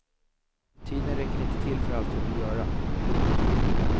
Tiden räcker inte till för allt jag vill göra. punkt